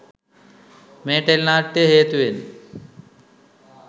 මේ ටෙලිනාට්‍යය හේතුවෙන්